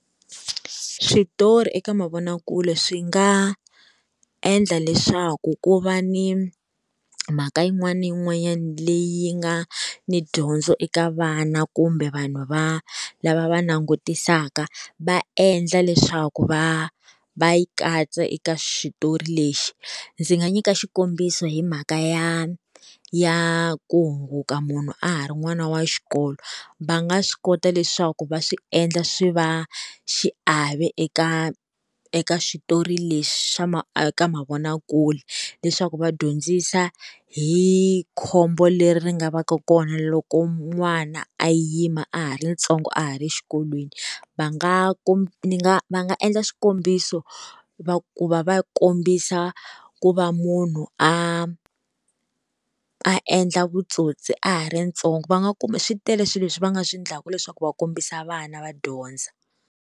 Switori eka mavonakule swi nga endla leswaku ku va ni mhaka yin'wana na yin'wanyana leyi nga ni dyondzo eka vana kumbe vanhu va lava va langutisaka, va endla leswaku va va yi katsa eka switori lexi. Ndzi nga nyika xikombiso hi mhaka ya ya ku hunguka munhu a ha ri n'wana wa xikolo. Va nga swi kota leswaku va swi endla swi va xiave eka eka switori lexi xa eka mavonakule, leswaku va dyondzisa hi khombo leri ri nga va ka kona loko n'wana a yima a ha ri ntsongo a ha ri xikolweni. Va nga ku ni nga va nga endla xikombiso va ku va va kombisa ku va munhu a a endla vutsotsi a ha ri ntsongo va nga ku swi tele swilo leswi va nga swi endlaka leswaku va kombisa vana va dyondza.